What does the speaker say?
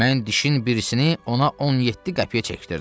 Mən dişin birisini ona 17 qəpiyə çəkdirdim.